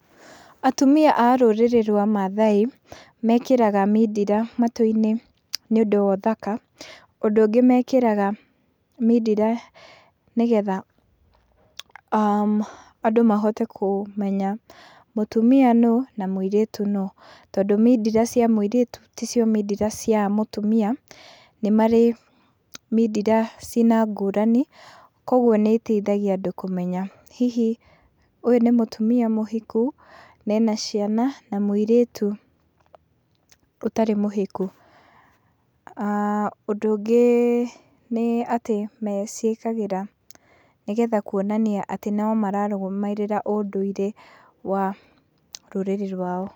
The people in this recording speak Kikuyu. Atumia a rũrĩrĩ rwa mathai mekĩraga mindira matũ-inĩ nĩ ũndũ wa ũthaka, ũndũ ũngĩ mekĩraga mindira nĩgetha andũ mahote kũmenya mũtumia nũ na mũirĩtu nũ, tondũ mindira cia mũirĩtu ti cio mindira cia mũtumia , nĩ marĩ mindira cina ngũrani , kwoguo nĩ iteithagia andũ kũmenya hihi ũyũ nĩ mũtumia mũhiku na ena ciana na mũirĩtu ũtarĩ mũhiku, ah ũndũ ũngĩ nĩ atĩ maciĩkagĩra nĩgetha kwonania atĩ no mararũmĩrĩra ũndũire wa rũrĩrĩ rwao.